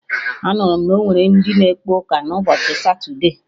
Anụrụ m na onwere ndị na ekpe ụka na ụbọchị satude